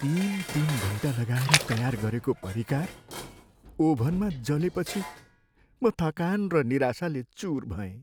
तिन तिन घन्टा लगाएर तयार गरेको परिकार ओभनमा जलेपछि म थकान र निराशाले चुर भएँ।